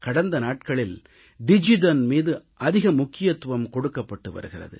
கடந்த நாட்களில் டிஜிதன் மீது அதிக முக்கியத்துவம் கொடுக்கப்பட்டு வருகிறது